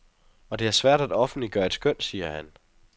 Og det er svært at offentliggøre et skøn, siger han.